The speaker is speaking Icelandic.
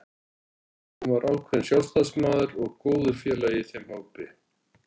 Hann var ákveðinn sjálfstæðismaður og góður félagi í þeim hópi.